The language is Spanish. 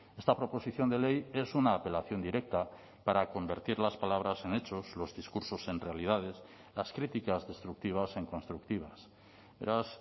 esta proposición de ley es una apelación directa para convertir las palabras en hechos los discursos en realidades las críticas destructivas en constructivas beraz